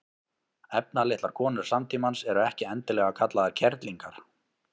efnalitlar konur samtímans eru ekki endilega kallaðar kerlingar